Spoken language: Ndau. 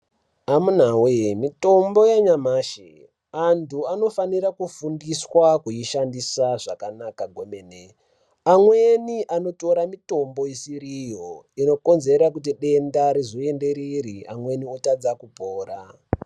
Amuna we mitombo yanyamashi Anofana kufundiswa kushandiswa zvakanaka kwemene amweni anotora mitombo isiriro anokodzera denda rizoenderere amweni otadza kupora.